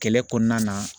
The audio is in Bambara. Kɛlɛ kɔnɔna na